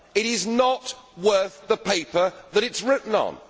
It is not worth the paper that it is written on.